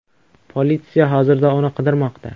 Politsiya hozirda uni qidirmoqda.